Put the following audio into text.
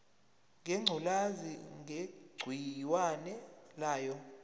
ngengculazi negciwane layo